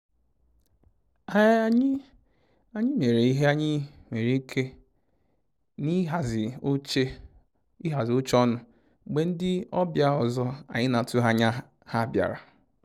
Anyị mere ihe anyị nwere ike na ihazi oche ọnụ mgbe ndi ọbịa ọzọ anyị na atụghị anya ha bịara